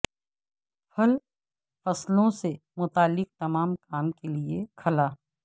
پھل فصلوں سے متعلق تمام کام کے لئے کھلا